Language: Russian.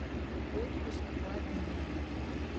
отпуск по обмену